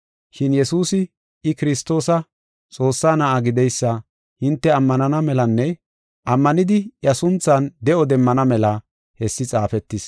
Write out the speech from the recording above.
Shin Yesuusi I Kiristoosa, Xoossaa Na7aa gideysa hinte ammanana melanne ammanidi iya sunthan de7o demmana mela haysi xaafetis.